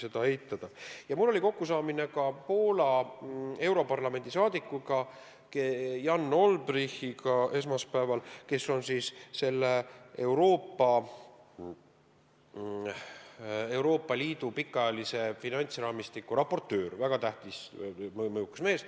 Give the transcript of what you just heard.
Mul oli esmaspäeval kokkusaamine Poola saadikuga europarlamendis Jan Olbrychtiga, kes on Euroopa Liidu pikaajalise finantsraamistiku raportöör, väga tähtis, mõjukas mees.